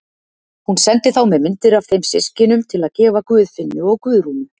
Hún sendi þá með myndir af þeim systkinum til að gefa Guðfinnu og Guðrúnu.